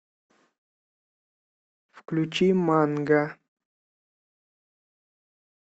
включи манга